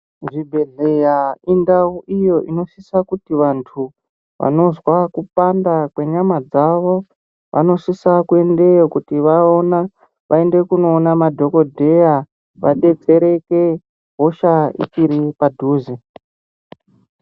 Zvi bhedhleya indau iyo inosisa kuti vantu vanozwa kupanda kwe nyama dzavo vanosisa kuendeyo kuti vaona vaende kundoona madhokodheya vadetsereke hosha ichiri padhuze.